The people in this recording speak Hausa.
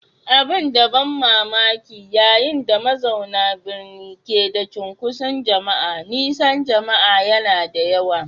Abin ban mamaki, yayin da mazauna birni ke da cunkoson jama'a, nisan jama'a yana da yawa.